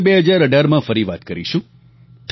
હવે 2018માં ફરી વાત કરીશું